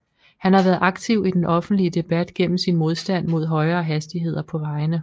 Han har været aktiv i den offentlige debat gennem sin modstand mod højere hastigheder på vejene